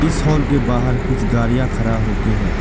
Hall के बाहर कुछ गाड़ियां खरा होके है।